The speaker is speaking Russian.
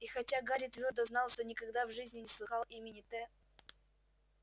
и хотя гарри твёрдо знал что никогда в жизни не слыхал имени т